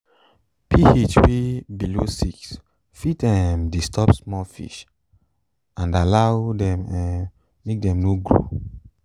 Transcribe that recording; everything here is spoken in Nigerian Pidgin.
ph wey below six fit um disturb small fish and allow dem um make dem no grow